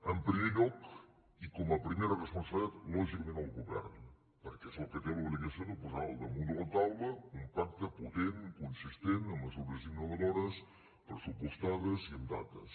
en primer lloc i com a primera responsabilitat lògicament al govern perquè és el que té l’obligació de posar al damunt de la taula un pacte potent consistent amb mesures innovadores pressupostades i amb dates